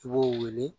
I b'o wele